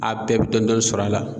A bɛɛ bɛ dɔn dɔɔni sɔr'a la.